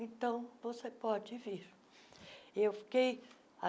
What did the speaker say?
Então, você pode vir. eu fiquei